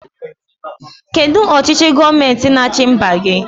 Kedụ ọchịchị gọọmenti n'achi mba gị?